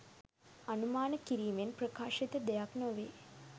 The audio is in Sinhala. අනුමාන කිරීමෙන් ප්‍රකාශිත දෙයක් නොවේ.